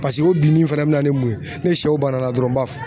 Paseke o binnin fana bɛna ni mun ye ? Ni sɛw banana dɔrɔn n b'a fɔ